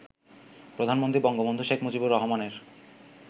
প্রধানমন্ত্রী বঙ্গবন্ধু শেখ মুজিবুর রহমানের